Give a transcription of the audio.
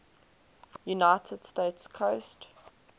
united states coast